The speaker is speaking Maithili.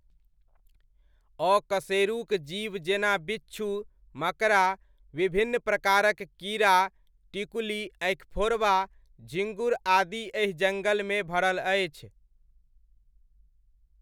अकशेरुक जीव जेना बिच्छू, मकड़ा, विभिन्न प्रकारक कीड़ा टिकुली, अँखिफोड़वा, झिङ्गुर आदि एहि जङ्गलमे भरल अछि।